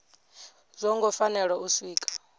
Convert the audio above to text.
zwo ngo fanela u siiwa